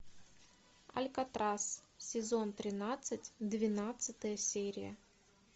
алькатрас сезон тринадцать двенадцатая серия